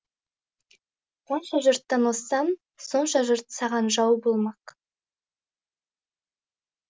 қанша жұрттан озсаң сонша жұрт саған жау болмақ